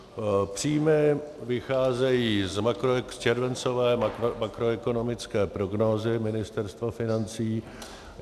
Příjmy vycházejí z červencové makroekonomické prognózy Ministerstva financí.